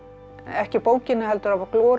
ekki af bókinni heldur af